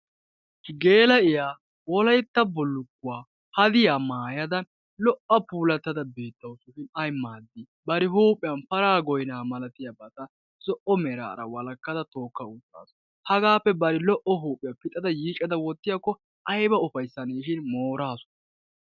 gela'iyaa Wolaytta bullukkuwaa hadiya maayaada beetawus ayyi maadi bari zo'o meraara bari huuphiyaan para malatiyaga yiiccada wottaaasu. hagappe bari huuphiyaa yiiccada wottiyaakko aybba lo''aneshin mooraasu.